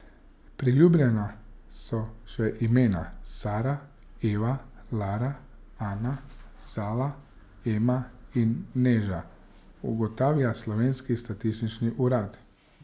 Priljubljena so še imena Sara, Eva, Lara, Ana, Zala, Ema in Neža, ugotavlja slovenski statistični urad.